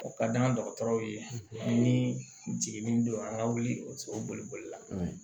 O ka d'an dɔgɔtɔrɔw ye ni jiginni don an ka wuli la